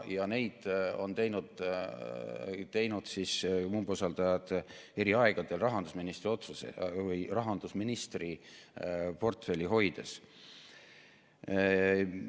Neid on teinud umbusaldajad eri aegadel rahandusministri otsusega või rahandusministri portfelli hoides.